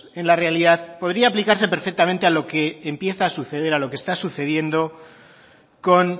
en la realidad podría aplicarse perfectamente a lo que empieza a suceder a lo que está sucediendo con